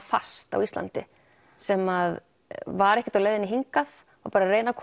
fast á Íslandi sem var ekkert á leiðinni hingað bara reyna að